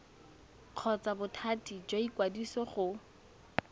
kgotsa bothati jwa ikwadiso go